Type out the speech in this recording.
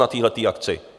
Na téhle akci!